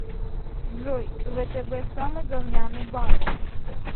джой втб самый говняный банк